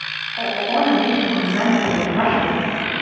ооо жилищно коммунальный трест маршрут